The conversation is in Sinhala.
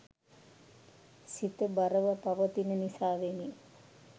සිත බරව පවතින නිසාවෙනි.